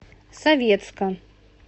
советска